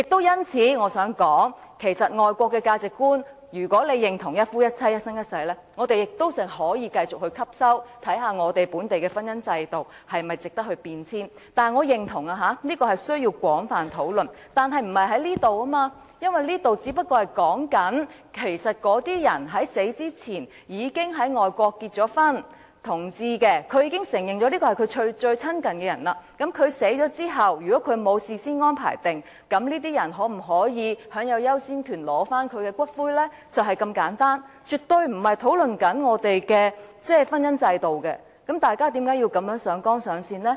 因此，我亦想說，即使這是外國的價值觀，如果大家認同一夫一妻，一生一世，我們可以繼續採用，也可以看看本地的婚姻制度是否值得改變；但是，我認同這需要廣泛討論，但不是現在進行，因為現在所說的，只是那些在死前已在外國結婚的同志，他們已承認伴侶是最親近的人，那麼在他們死後，如沒有事先安排，他們的伴侶可否享有優先權取回骨灰，就是如此簡單，絕對不是在討論我們的婚姻制度，大家為何要如此上綱上線呢？